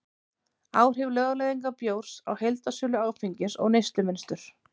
áhrif lögleiðingar bjórs á heildarsölu áfengis og neyslumynstur